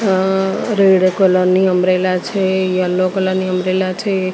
અહ red colour ની umbrella છે yellow colour ની ઉંમ્બ્રેલા છે.